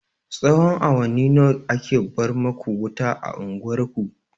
Tsahon awanni nawa ake bar maku wuta a unguwar ku?